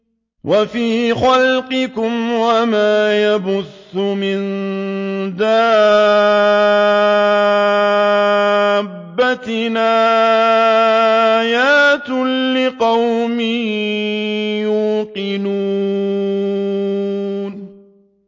وَفِي خَلْقِكُمْ وَمَا يَبُثُّ مِن دَابَّةٍ آيَاتٌ لِّقَوْمٍ يُوقِنُونَ